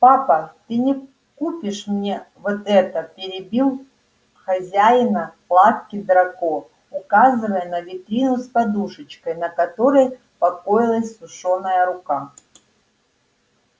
папа ты не купишь мне вот это перебил хозяина лавки драко указывая на витрину с подушечкой на которой покоилась сушёная рука